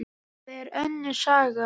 Það er önnur saga.